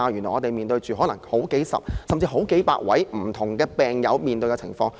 我們現時須應付的，是好幾位，甚至是好幾百位不同病友所面對的情況。